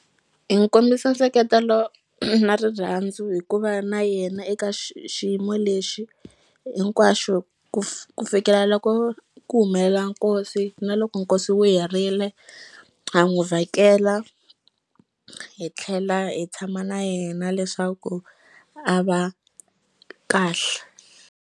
Hi n'wu kombisa nseketelo na rirhandzu hikuva na yena eka xiyimo lexi hinkwaxo ku fikela loko ku humelela nkosi na loko nkosi wu herile ha n'wu vhakela hi tlhela hi tshama na yena leswaku a va kahle.